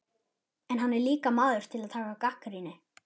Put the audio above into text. En hann er líka maður til að taka gagnrýni.